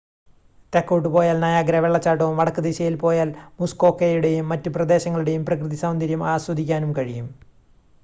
തെക്കോട്ട് പോയാൽ നയാഗ്രാ വെള്ളച്ചാട്ടവും വടക്ക് ദിശയിൽ പോയാൽ മുസ്‌കോക്കയുടെയും മറ്റ് പ്രദേശങ്ങളുടെയും പ്രകൃതി സൗന്ദര്യം ആസ്വദിക്കുവാനും കഴിയും